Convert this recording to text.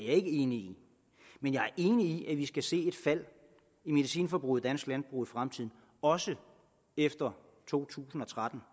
ikke enig i men jeg er enig i at vi skal se et fald i medicinforbruget i dansk landbrug også efter to tusind og tretten